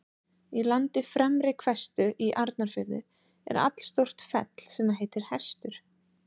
Í landi Fremri-Hvestu í Arnarfirði er allstórt fell sem heitir Hestur.